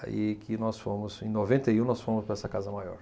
Aí que nós fomos, em noventa e um, nós fomos para essa casa maior.